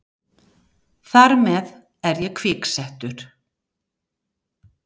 Þar með er ég kviksettur.